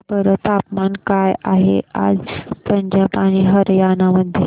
सांगा बरं तापमान काय आहे आज पंजाब आणि हरयाणा मध्ये